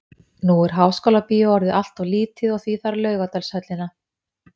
Nú er Háskólabíó orðið allt of lítið og því þarf Laugardalshöllina.